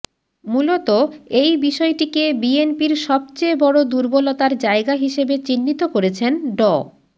মূলত এই বিষয়টিকে বিএনপির সবচেয়ে বড় দুর্বলতার জায়গা হিসেবে চিহ্নিত করেছেন ড